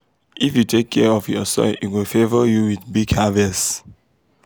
if you take care of your soil e go favour you with big harvest.